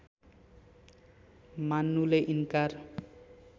मान्नुले इन्कार